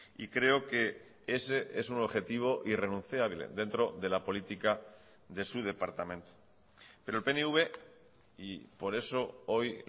y creo que ese es un objetivo irrenunciable dentro de la política de su departamento pero el pnv y por eso hoy